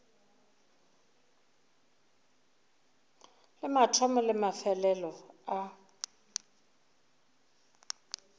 le mathomo le mafelelo a